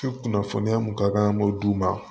kunnafoniya mun ka kan an b'o d'u ma